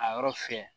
A yɔrɔ fɛ